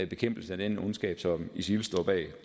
bekæmpelse af den ondskab som isil står bag